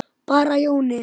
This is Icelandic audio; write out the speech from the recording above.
Bara Jóni.